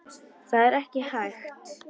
Það er ekki hægt